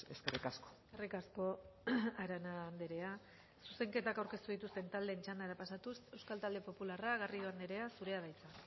eskerrik asko eskerrik asko arana andrea zuzenketak aurkeztu dituzten taldeen txandara pasatuz euskal talde popularra garrido andrea zurea da hitza